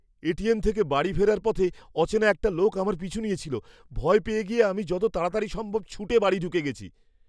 ATM থেকে বাড়ি ফেরার পথে অচেনা একটা লোক আমার পিছু নিয়েছিল। ভয় পেয়ে গিয়ে আমি যত তাড়াতাড়ি সম্ভব ছুটে বাড়ি ঢুকে গেছি।